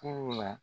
Furu la